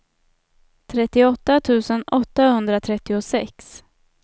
trettioåtta tusen åttahundratrettiosex